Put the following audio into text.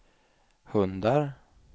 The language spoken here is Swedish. hundar